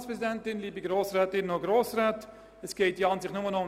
Es geht ja im Grunde nur um die Abschreibung.